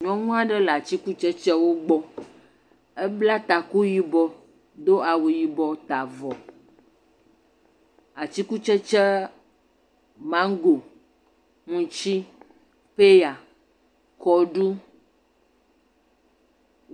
Nyɔnu aɖe le atikutsɛtsɛwo gbɔ. Wo bla taku yibɔ do awu yibɔ ta avɔ. Atikutsɛtsɛa mango, utsi, paya, kɔɖu.